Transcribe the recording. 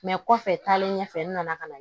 kɔfɛ taalen ɲɛfɛ n nana ka na